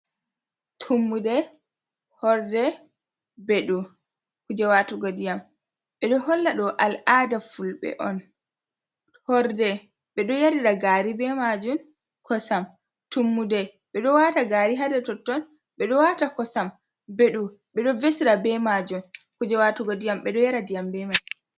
Tummude, horde beɗuu kuuje waatugo diyam, ɓeɗo holla ɗo al’ada fulbe'on. Horde ɓeɗo yaarira gaari be majum, kosam, tummude ɓeɗo waata gari ha dau totton ɓeɗo waata kosam.Beɗuu ɓeɗo vesira be majum kuujee waatugo diyam bedo yara diyam be mai.